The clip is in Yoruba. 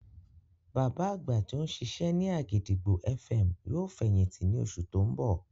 Bàbá àgbà tí ó ń ṣiṣẹ́ ní àgìdìgbò FM yóò fẹ̀yìntì ní oṣù tí ó ń bọ̀